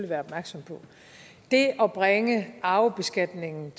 være opmærksomme på det at bringe arvebeskatningen